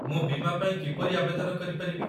ମୁଁ ବୀମା ପାଇଁ କିପରି ଆବେଦନ କରିପାରିବି?